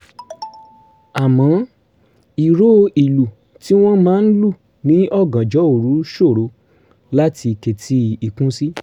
àmọ́ ìró ìlù tí wọ́n máa ń lù ní ọ̀gànjọ́ òru ṣòro láti ketí ikún sí